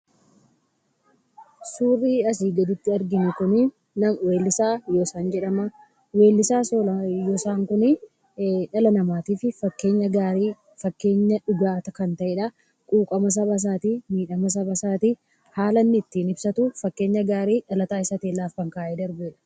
Suurri asii gaditti arginu kun weellisaa Yoosan jedhama. Weellisaa Yoosan kun dhala namaatiif fakkeenya gaarii, fakkeenya dhugaa kan ta'edha. Quuqama saba isaatii, miidhama sabasaatii haala inni ittiin ibsatu fakkeenya gaarii dhaloota keenyaaf lafa kaayee darbeera.